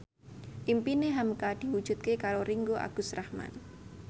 impine hamka diwujudke karo Ringgo Agus Rahman